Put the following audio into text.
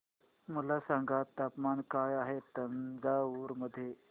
मला सांगा तापमान काय आहे तंजावूर मध्ये